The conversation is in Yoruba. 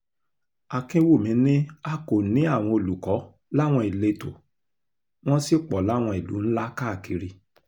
akínwùmí ni a kò ní àwọn olùkọ́ láwọn ìletò wọ́n sì pọ̀ láwọn ìlú ńlá káàkiri